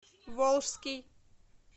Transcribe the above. волжский